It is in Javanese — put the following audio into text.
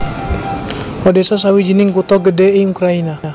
Odésa sawijining kutha gedhé ing Ukrayina